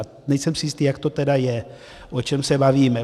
A nejsem si jistý, jak to tedy je, o čem se bavíme.